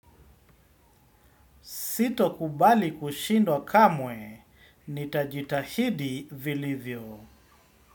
Sitokubali kushindwa kamwe, nitajitahidi vilivyo.